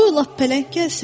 Qoy lap pələng gəlsin.